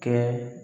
Kɛ